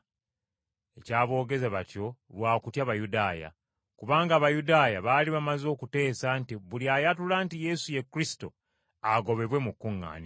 Ekyaboogeza batyo lwa kutya Bayudaaya. Kubanga Abayudaaya baali bamaze okuteesa nti buli ayatula nti Yesu ye Kristo agobebwe mu kuŋŋaaniro.